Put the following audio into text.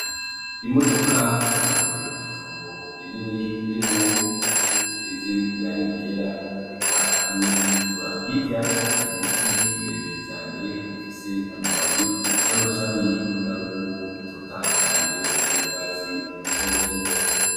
Imodoka ihagaze mw'itongo rinini ririmwo inzu zisize irangi ryera, eka n'iritukura. Hirya hari ibiti birebire cane bifise amababi n'amashami ubona y'uko atotahaye cane, asa n'urwatsi rutoto.